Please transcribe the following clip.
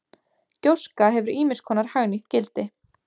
Gjóska hefur ýmis konar hagnýtt gildi.